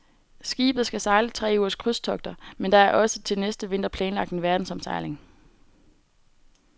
Skibet skal sejle tre ugers krydstogter, men der er også til næste vinter planlagt en verdensomsejling.